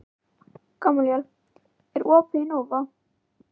Gamalíel, er opið í Nova?